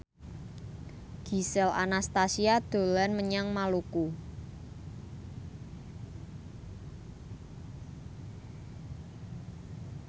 Gisel Anastasia dolan menyang Maluku